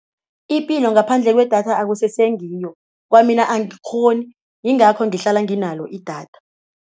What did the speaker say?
Ipilo ngaphandle kwedatha akusese ngiyo, kwamina angikghoni yingakho ngihlala nginalo idatha.